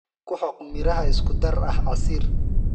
Ku xoq miraha isku dar ah casiir.